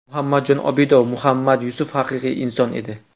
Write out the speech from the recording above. Muhammadjon Obidov: Muhammad Yusuf haqiqiy inson edi.